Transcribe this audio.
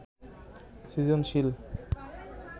সৃজনশীল